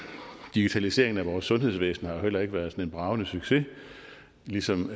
digitaliseringen af vores sundhedsvæsen har jo heller ikke været sådan en bragende succes ligesom